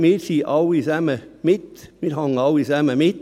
Ich will hier sagen: Wir hängen hier alle zusammen mit.